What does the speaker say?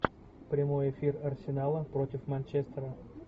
прямой эфир арсенала против манчестера